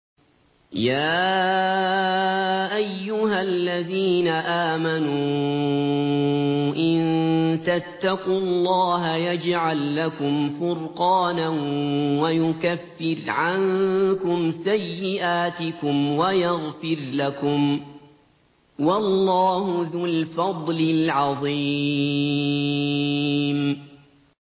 يَا أَيُّهَا الَّذِينَ آمَنُوا إِن تَتَّقُوا اللَّهَ يَجْعَل لَّكُمْ فُرْقَانًا وَيُكَفِّرْ عَنكُمْ سَيِّئَاتِكُمْ وَيَغْفِرْ لَكُمْ ۗ وَاللَّهُ ذُو الْفَضْلِ الْعَظِيمِ